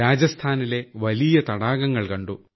രാജസ്ഥാനിലെ വലിയ തടാകങ്ങൾ കണ്ടു